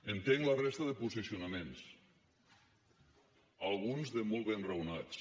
entenc la resta de posicionaments alguns de molt ben raonats